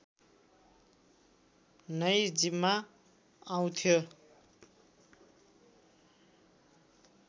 नै जिम्मा आउँथ्यो